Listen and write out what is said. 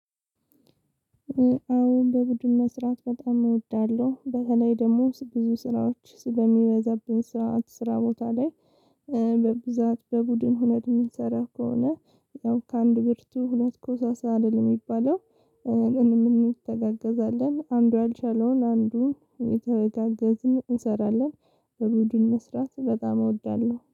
አሁን በቡድን መስራት በጣም እወዳለሁ በተለይ ደግሞ ብዙ ስራዎች ስለሚበዛብኝ ስራ ስራ ቦታ ላይ። በብዛት በቡድን ሆነን የምንሰራው ከሆነ። ያው ከአንድ ብርቱ ሁለት ኮሳሳ አይደል የሚባለው። እንም እንተጋገዛለን አንዱ ያልቻለውን አንዱን እየተጋገዝን እንሰራለን በቡድን መስራት በጣም እወዳለሁ